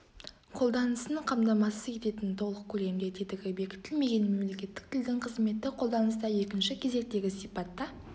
қолданысын қамтамасыз ететін толық көлемде тетігі бекітілмеген мемлекеттік тілдің қызметтік қолданыста екінші кезектегі сипатта